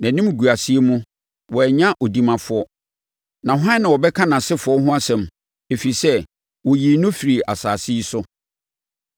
Nʼanimguaseɛ mu, wannya odimafoɔ. Na hwan na ɔbɛka nʼasefoɔ ho asɛm? Ɛfiri sɛ, wɔyii no firii asase yi so.”